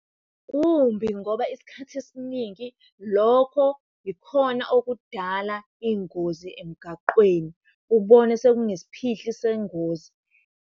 Kumbi ngoba isikhathi esiningi lokho ikhona okudala iy'ngozi emgaqweni, ubone sekunesiphihli sengozi.